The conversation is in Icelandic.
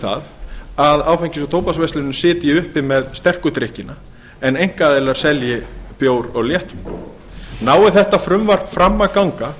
það að áfengis og tóbaksverslunin sitji uppi með sterku drykkina en einkaaðilar selji bæ og léttvín nái þetta frumvarp fram að ganga